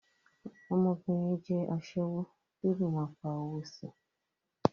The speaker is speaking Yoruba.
Ọmọbìnrin yẹn jẹ́ aṣẹ́wó kí ó le máa pa owó si.